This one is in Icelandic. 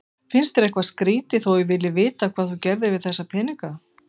Finnst þér eitthvað skrýtið þó að ég vilji vita hvað þú gerðir við þessa peninga?